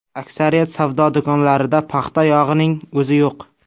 Aksariyat savdo do‘konlarida paxta yog‘ining o‘zi yo‘q.